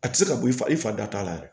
A tɛ se ka bɔ i fa i fa da t'a la yɛrɛ